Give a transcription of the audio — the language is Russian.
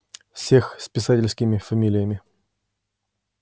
всех с писательскими фамилиями